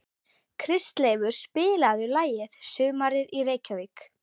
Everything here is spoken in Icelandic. Kristleifur, spilaðu lagið „Sumarið í Reykjavík“.